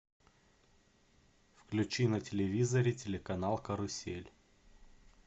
включи на телевизоре телеканал карусель